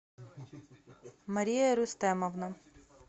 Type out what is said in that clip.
мария рустемовна